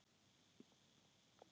Já, sæll.